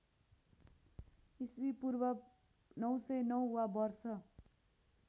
ईपू ९०९ वा वर्ष